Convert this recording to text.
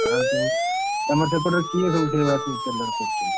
ଆଉ ଯୋଉ ତମ ସେପଟରେ କିଏ ସବୁ ସେଇଭଳିଆ ସବୁ ତେଲରେ କରୁଛନ୍ତି?